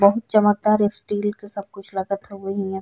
बहुत चमकदार स्टील के सब कुछ लगत हउए हियां।